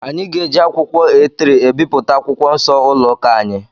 Anyị ga-eji akwụkwọ A3 ebipụta akwụkwọ Nsọ ụlọ ụka anyị.